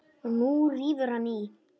Og nú rífur hann í.